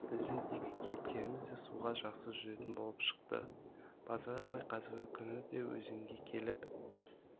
біздің екі кейіпкеріміз де суға жақсы жүзетін болып шықты базар апай қазіргі күні де өзенге келіп